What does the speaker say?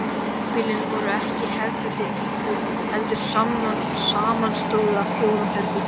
Híbýlin voru ekki hefðbundin íbúð heldur samanstóðu af fjórum herbergjum.